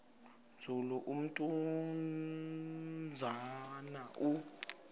nzulu umnumzana u